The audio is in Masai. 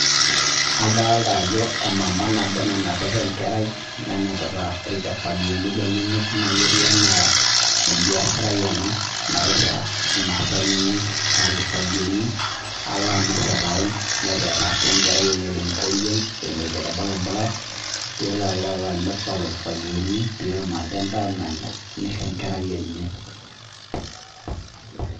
Adolita Ajo emama nabo nanapita enkerai nenapita irkifagioni lenyena ketieu enaa ebiasharani ena nataa emasaa enye aa irkifagioni alo amir tee taoni neteena sii enkerai enye tenkoriog eleoito too orbaribara aleito aloo amir lelo kifagioni petum aje endaa Nanya nishoo enkerai enye